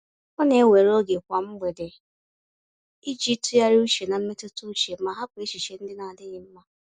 Ọ na-ewere oge kwa mgbede iji tụgharị uche na mmetụta uche ma hapụ echiche ndị na-adịghị mma.